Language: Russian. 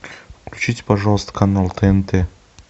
включите пожалуйста канал тнт